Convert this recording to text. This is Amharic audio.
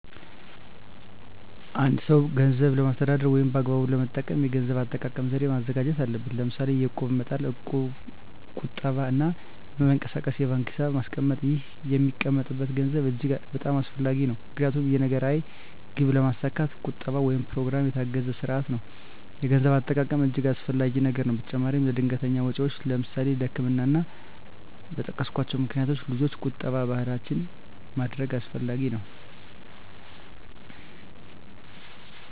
አ አንድ ሰው ገንዘብን ለማስተዳደር ወይም በአግባቡ ለመጠቀም የገንዘብ አጠቃቀም ዘዴ ማዘጋጀት አለበት ለምሳሌ የእቁብ መጣል ቁጠባ እና በማይንቀሳቀስ የባንክ ሒሳብ ማስቀመጥ ይህ የሚቀመጠም ገንዘብ እጅግ በጣም አስፈላጊ ነው ምክንያቱም የነገ ራዕይ ግብ ለማስካት ቁጠባ ወይም በኘሮግራም የታገዘ ስርአት ያለው የገንዘብ አጠቃቀም እጅገ አስፈላጊ ነገር ነው በተጨማራም ለድንገተኛ ወጨወች ለምሳሌ ለህክምና እና እና በጠቀስኮቸው ምክንያቶች ልጆች ቁጠባ ባህላችን ማድረግ አስፈላጊ ነው።